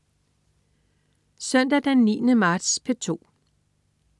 Søndag den 9. marts - P2: